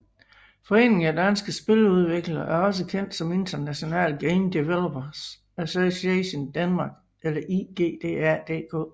Foreningen af Danske Spiludviklere er også kendt som International Game Developers Association Denmark eller IGDA DK